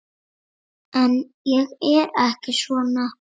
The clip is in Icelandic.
En ég er ekki svona.